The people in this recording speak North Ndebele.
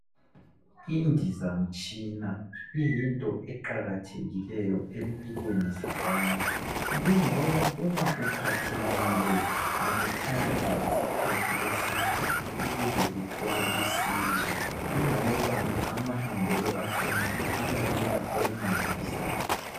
Indizamtshina iyinto eqakathekileyo empilweni zabantu kungoba uma uphathekile akuthathi isikhathi eside ukuze uthole usizo kungoba amahambelo akhona abalula okumangalisayo.